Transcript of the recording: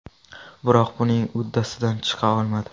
Biroq buning uddasidan chiqa olmadi.